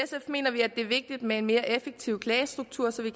mener vi at det er vigtigt med en mere effektiv klagestruktur så vi